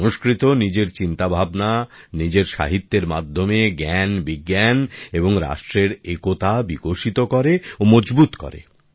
সংস্কৃত নিজের চিন্তাভাবনা নিজের সাহিত্যের মাধ্যমে জ্ঞানবিজ্ঞান এবং রাষ্ট্রের একতা বিকশিত করে ও মজবুত করে